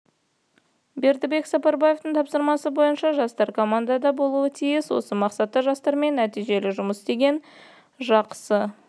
бердібек сапарбаевтың тапсырмасы бойынша жастар командада болуы тиіс осы мақсатта жастармен нәтижелі жұмыс істеген жақсы